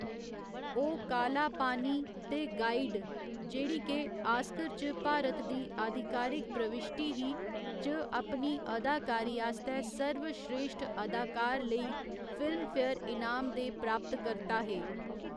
ओह् काला पानी ते गाइड, जेह्ड़ी के आस्कर च भारत दी आधिकारक प्रविश्टी ही, च अपनी अदाकारी आस्तै सर्वस्रेश्ठ अदाकार लेई फिल्मफेयर इनाम दे प्राप्तकर्ता हे।